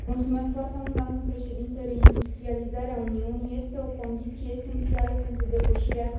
Doamnă președinte, reindustrializarea Uniunii este o condiție esențială pentru depășirea crizei.